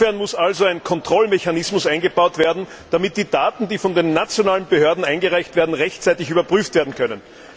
Insofern muss also ein Kontrollmechanismus eingebaut werden, damit die Daten, die von den nationalen Behörden eingereicht werden, rechtzeitig überprüft werden können.